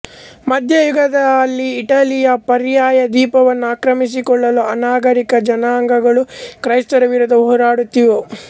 ಮಧ್ಯಯುಗದಲ್ಲಿ ಇಟಲಿಯ ಪರ್ಯಾಯದ್ವೀಪವನ್ನು ಆಕ್ರಮಿಸಿಕೊಳ್ಳಲು ಅನಾಗರಿಕ ಜನಾಂಗಗಳು ಕ್ರೈಸ್ತರ ವಿರುದ್ಧ ಹೋರಾಡುತ್ತಿದ್ದವು